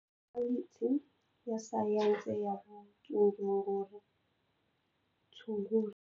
Fakhaliti ya Sayense ya Vutshunguri.